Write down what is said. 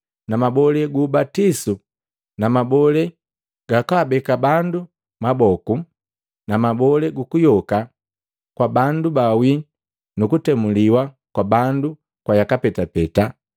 na mabole gu ubatisu na mabole gakwaabeke bandu maboku; na mabole kuyoka kwa bandu ba wii nu kutemuliwa kwa bandu kwa yaka petapeta.